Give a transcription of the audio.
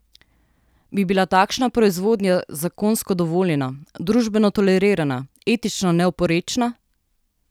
Bi bila takšna proizvodnja zakonsko dovoljena, družbeno tolerirana, etično neoporečna?